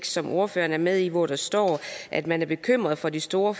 som ordføreren er med i hvor der står at man er bekymret for de store